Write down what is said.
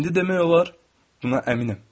İndi demək olar, buna əminəm.